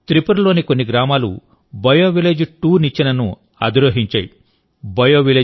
కానీ త్రిపురలోని కొన్ని గ్రామాలు బయోవిలేజ్2నిచ్చెనను అధిరోహించాయి